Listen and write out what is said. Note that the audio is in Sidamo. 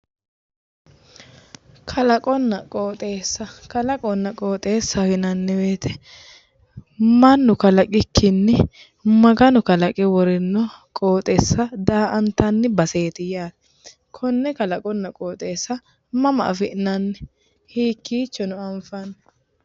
Kalaqonna qoxxeessa ,kalaqonna qoxxeessaho yinnanni woyte mannu kalaqikkinni Maganu kalaqe worino qoxxeessa daa"attani baseeti yaate, konne kalaqonna qoxxeessa mama afi'nanni hiikkichono anfanni?